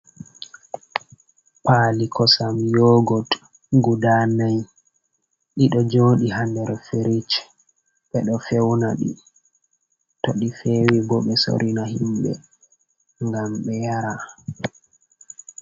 Paali kosam yoogot guda nayi, ɗi ɗo jooɗi ha nder firich ɓe ɗo fewna ɗi, to ɗi feewi bo ɓe soorina himɓe ngam be yaara.